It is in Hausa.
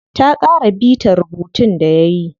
Ta ƙara bita rubuntun da yayi.